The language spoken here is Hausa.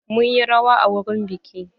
Mun yi rawa a wurin biƙi.